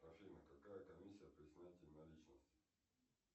афина какая комиссия при снятии наличности